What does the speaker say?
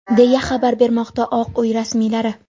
deya xabar bermoqda Oq uy rasmiylari.